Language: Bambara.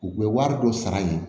U bɛ wari dɔ sara yen